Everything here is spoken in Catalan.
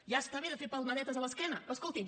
ja està bé de fer palmadetes a l’esquena escoltin